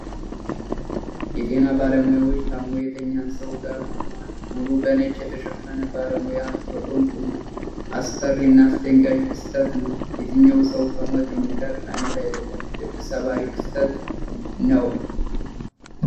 የጤና ባለሙያዎች ታሞ የተኛን ሰዉ ጋር ቆመዋል። ሙሉ በነጭ የተሸፈነ ባለሙያ ከጎን ቆሟል። አስፈሪ እና አስደንጋጭ ክስተት ነዉ። የተኛዉ ሰዉ ከሞት የሚተርፍ አይነት አይደለም። ልብ ሰባሪ ክስተት ነዉ።